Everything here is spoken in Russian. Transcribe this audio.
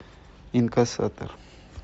инкассатор